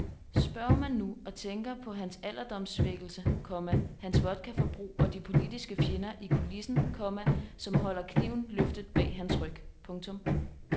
Spørger man nu og tænker på hans alderdomssvækkelse, komma hans vodkaforbrug og de politiske fjender i kulissen, komma som holder kniven løftet bag hans ryg. punktum